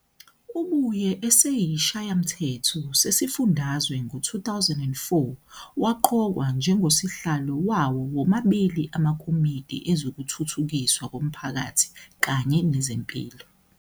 Ubuyele esiShayamthetho sesifundazwe ngo-2004 waqokwa njengoSihlalo wawo womabili amaKomidi Ezokuthuthukiswa Komphakathi kanye Nezempilo.